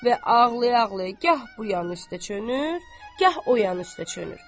Və ağlaya-ağlaya gah bu yan üstə çönür, gah o yan üstə çönür.